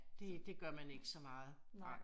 Det det gør man ikke så meget nej